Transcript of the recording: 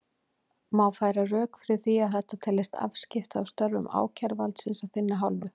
Má færa rök fyrir því að þetta teljist afskipti af störfum ákæruvaldsins af þinni hálfu?